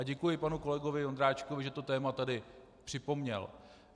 A děkuji panu kolegovi Ondráčkovi, že to téma tady připomněl.